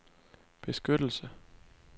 beskyttelse